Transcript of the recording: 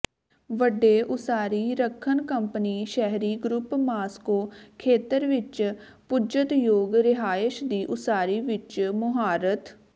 ਵੱਡੇ ਉਸਾਰੀ ਰੱਖਣ ਕੰਪਨੀ ਸ਼ਹਿਰੀ ਗਰੁੱਪ ਮਾਸਕੋ ਖੇਤਰ ਵਿਚ ਪੁੱਜਤਯੋਗ ਰਿਹਾਇਸ਼ ਦੀ ਉਸਾਰੀ ਵਿਚ ਮੁਹਾਰਤ